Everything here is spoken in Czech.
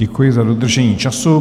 Děkuji za dodržení času.